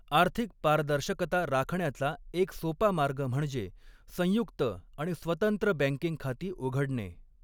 आर्थिक पारदर्शकता राखण्याचा एक सोपा मार्ग म्हणजे संयुक्त आणि स्वतंत्र बँकिंग खाती उघडणे.